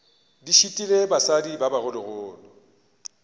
di šitile basadi ba bogologolo